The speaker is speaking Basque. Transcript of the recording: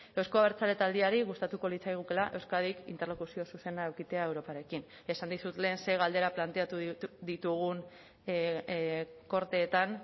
euzko abertzale taldeari gustatuko litzaigukeela euskadik interlokuzio zuzena edukitzea europarekin esan dizut lehen ze galdera planteatu ditugun korteetan